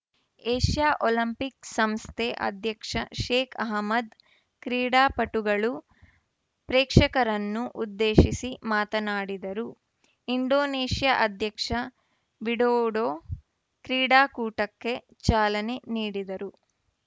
Asia Olympic ಸಂಸ್ಥೆ ಅಧ್ಯಕ್ಷ Sheikh Ahmad ಕ್ರೀಡಾಪಟುಗಳು ಪ್ರೇಕ್ಷಕರನ್ನು ಉದ್ದೇಶಿಸಿ ಮಾತನಾಡಿದರು ಇಂಡೋನೇಷ್ಯಾ ಅಧ್ಯಕ್ಷ ವಿಡೊಡೋ ಕ್ರೀಡಾಕೂಟಕ್ಕೆ ಚಾಲನೆ ನೀಡಿದರು